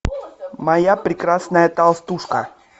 моя прекрасная толстушка